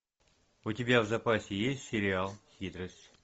у тебя в запасе есть сериал хитрость